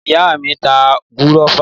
Ìyáà mi ń ta gúrófà.